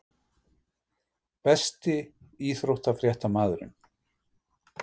Besti íþróttafréttamaðurinn?